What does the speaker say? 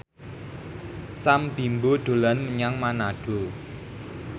Sam Bimbo dolan menyang Manado